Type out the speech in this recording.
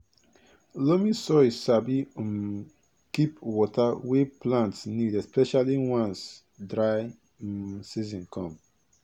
loamy soil sabi um keep water wey plant need especially once dry um season come